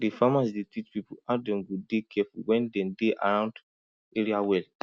di farmers dey teach people how dem go dey careful when dem dey around area well